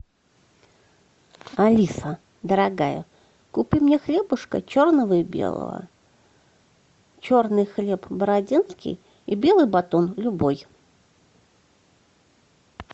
алиса дорогая купи мне хлебушка черного и белого черный хлеб бородинский и белый батон любой